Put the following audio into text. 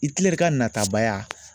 Itilɛri ka natabaya